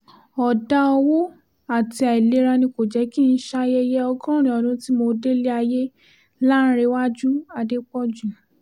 ọ̀dà owó àti àìlera ni kò jẹ́ kí n ṣayẹyẹ ọgọ́rin ọdún tí mo délé ayé láǹrẹwájú adépọ́jù